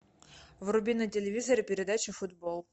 вруби на телевизоре передачу футбол